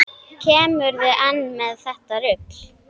Kemurðu enn með þetta rugl!